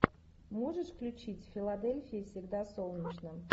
можешь включить в филадельфии всегда солнечно